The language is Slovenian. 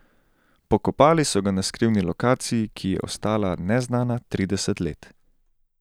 Pokopali so ga na skrivni lokaciji, ki je ostala neznana trideset let.